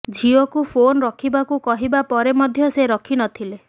ଝିଅକୁ ଫୋନ୍ ରଖିବାକୁ କହିବା ପରେ ମଧ୍ୟ ସେ ରଖି ନଥିଲେ